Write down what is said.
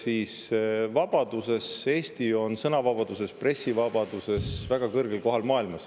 Eesti on sõnavabaduse, pressivabaduse maailmas väga kõrgel kohal.